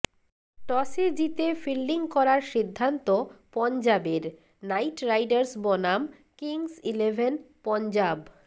টসে জিতে ফিল্ডিং করার সিদ্ধান্ত পঞ্জাবের নাইট রাইডার্স বনাম কিংস ইলেভেন পঞ্জাব